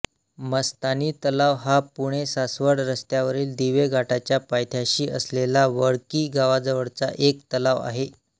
मस्तानी तलाव हा पुणेसासवड रस्त्यावरील दिवे घाटाच्या पायथ्याशी असलेला वडकी गावाजवळचा एक तलाव आहे